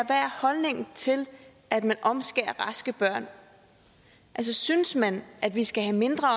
holdningen til at man omskærer raske børn altså synes man at vi skal have mindre